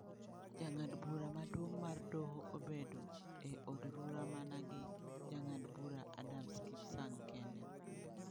Jang'ad bura maduong ' mar doho obedo e odrura mana gi Jang'ad bura Adams Kipsang kende.